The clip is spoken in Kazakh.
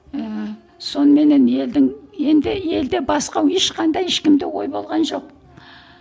ііі соныменен елдің енді елде басқа ешқандай ешкімде ой болған жоқ